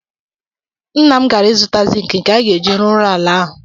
Nna m gara ịzụta zịịnkị nke a ga-eji rụọ ụlọ ala ahụ.